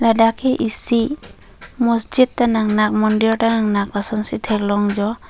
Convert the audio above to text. dak ke isi masjid ta nangnak mondir ta nangnak asonsi theklong jo.